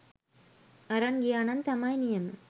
අරන් ගියා නම් තමයි නියම.